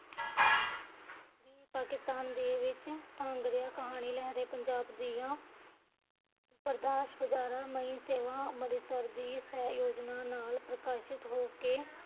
ਕੀ ਪਾਕਿਸਤਾਨ ਦੇ ਵਿੱਚ ਕਹਾਣੀ ਲਹਰੇ ਪੰਜਾਬ ਦੀਆ ਅੰਮ੍ਰਿਤਸਰ ਦੀ ਇਸ ਯੋਜਨਾ ਨਾਲ਼ ਪ੍ਰਕਾਸ਼ਿਤ ਹੋ ਕੇ